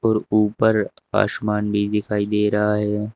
और ऊपर आसमान भी दिखाई दे रहा है।